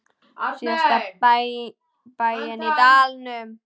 Síðasta bæinn í dalnum.